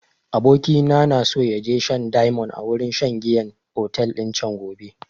Abokina na so ya je shan diamond a wurin shan giyan otel din can gobe